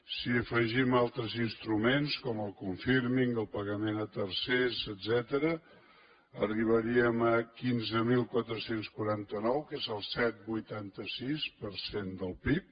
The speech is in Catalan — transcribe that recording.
si afegim altres instruments com el confirmingtercers etcètera arribaríem a quinze mil quatre cents i quaranta nou que és el set coma vuitanta sis per cent del pib